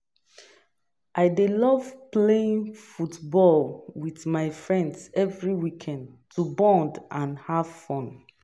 I dey love playing football with my friends every weekend to bond and have fun.